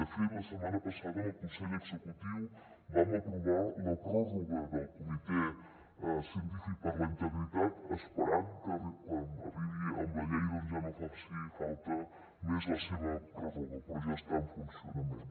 de fet la setmana passada en el consell executiu vam aprovar la pròrroga del comitè científic per a la integritat esperant que amb la llei doncs ja no faci falta més la seva pròrroga però ja està en funcionament